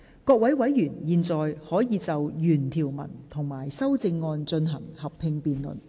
各位委員現在可以就原條文及修正案進行合併辯論。